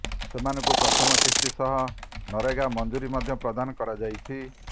ସେମାନଙ୍କୁ ପ୍ରଥମ କିସ୍ତି ସହ ନରେଗା ମଜୁରୀ ମଧ୍ୟ ପ୍ରଦାନ କରାଯାଇଛି